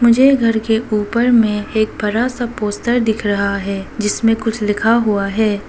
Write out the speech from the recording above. मुझे घर के ऊपर में एक बड़ा सा पोस्तर दिख रहा है जिसमें कुछ लिखा हुआ है।